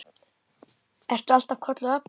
Ertu alltaf kölluð Ebba?